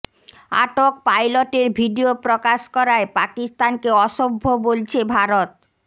আটক পাইলটের ভিডিও প্রকাশ করায় পাকিস্তানকে অসভ্য বলছে ভারত